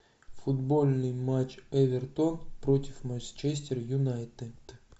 футбольный матч эвертон против манчестер юнайтед